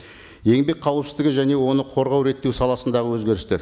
еңбек қауіпсіздігі және оны қорғау реттеу саласындағы өзгерістер